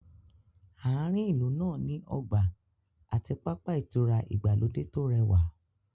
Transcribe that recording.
Àárín ìlú náà ní ọgbà àti pápá ìtura ìgbàlódé tó rẹwà